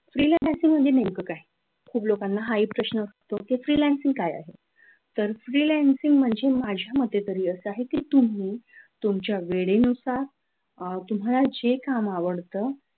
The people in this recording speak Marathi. freelancing म्हणजे नेमकं काय लोकांना हा हि एक प्रश्न असतो की freelancing काय आहे तर freelancing म्हणजे माझ्या मते तरी असा आहे की तुम्ही तुमच्या वेळेनुसार अह तुम्हाला जे काम आवडतं